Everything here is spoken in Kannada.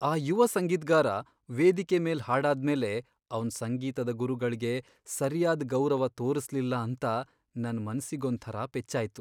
ಆ ಯುವ ಸಂಗೀತ್ಗಾರ ವೇದಿಕೆ ಮೇಲ್ ಹಾಡಾದ್ಮೇಲೆ ಅವ್ನ್ ಸಂಗೀತದ ಗುರುಗಳ್ಗೆ ಸರ್ಯಾದ್ ಗೌರವ ತೋರ್ಸ್ಲಿಲ್ಲ ಅಂತ ನನ್ ಮನ್ಸಿಗೊಂಥರ ಪೆಚ್ಚಾಯ್ತು.